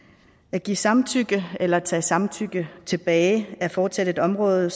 at give samtykke eller tage samtykke tilbage er fortsat et område